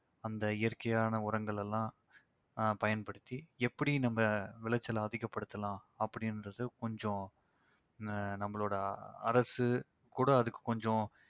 அந்த இயற்கையான உரங்களெல்லாம் அஹ் பயன்படுத்தி எப்படி நம்ம விளைச்சலை அதிகப்படுத்தலாம் அப்படின்றது கொஞ்சம் அஹ் நம்மளோட அரசு கூட அதுக்கு கொஞ்சம்